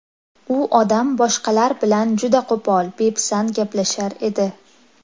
U odam boshqalar bilan juda qo‘pol, bepisand gaplashar edi.